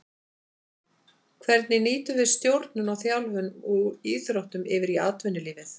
Hvernig nýtum við stjórnun og þjálfun úr íþróttum yfir í atvinnulífið.